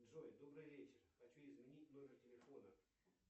джой добрый вечер хочу изменить номер телефона